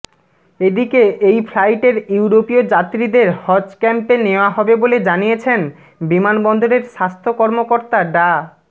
এদিকে এই ফ্লাইটের ইউরোপীয় যাত্রীদের হজ ক্যাম্পে নেওয়া হবে বলে জানিয়েছেন বিমানবন্দরের স্বাস্থ্য কর্মকর্তা ডা